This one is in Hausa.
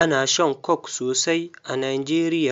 Ana shan Coke sosai a Nigeria.